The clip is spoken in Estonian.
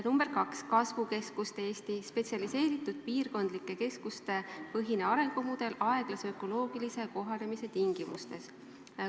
Number kaks on kasvukeskuste Eesti – spetsialiseeritud piirkondlike keskuste põhine arengumudel aeglase ökoloogilise kohanemise tingimustes.